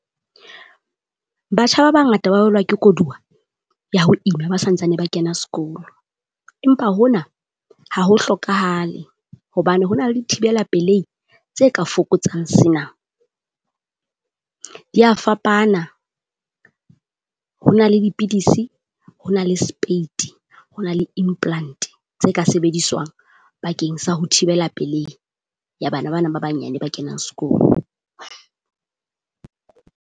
Batjha ba bangata ba bolawa ke kodua ya ho ima ba santsane ba kena sekolo, empa hona ha ho hlokahale hobane ho na le thibela peleng tse ka fokotsang se na. Dia fapana, ho na le dipidisi, ho na le spate, ho na le implant tse ka sebediswang bakeng sa ho thibela pelehi ya bana bana ba banyane ba kenang skolo.